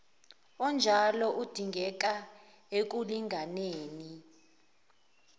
onjalo udingeka ekulinganeni